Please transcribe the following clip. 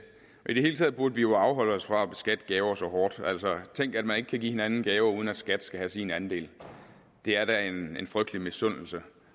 i det hele taget burde vi jo afholde os fra at beskatte gaver så hårdt altså tænk at man ikke kan give hinanden en gave uden at skat skal have sin andel det er da en frygtelig misundelse